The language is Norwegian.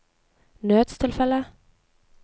nødstilfelle